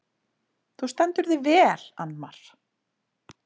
Þú stendur þig vel, Annmar!